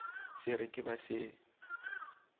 se re ke ba se